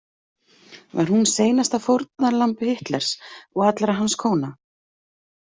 Var hún seinasta fórnarlamb Hitlers og allra hans kóna?